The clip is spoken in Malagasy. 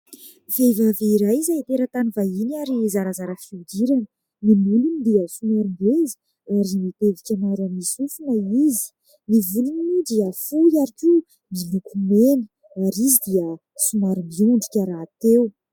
Tovovavy iray izay teratany vahiny, ary zarazara fihodirana. Ny molony dia somary ngeza, ary mitevika maro amin'ny sofina izy. Ny volony dia fohy ary koa miloko mena, ary izy dia somary miondrika rahateo.